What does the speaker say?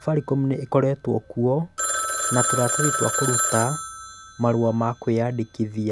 Safaricom nĩ ĩkoretwo kuo ta tũratathi twa kũruta marũa ma kwĩandĩkithia.